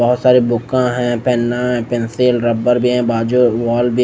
बहोत सारे बुका हैं पेना है पेंसिल रबड़ भी है बाजू वॉल भी--